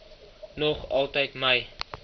nog altyd my